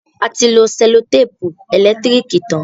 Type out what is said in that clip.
A ti lo sẹ́lòtèpù ẹ̀lẹ́tírìkì tán.